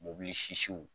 Mobili sisiw